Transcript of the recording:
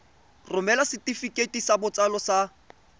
romela setefikeiti sa botsalo sa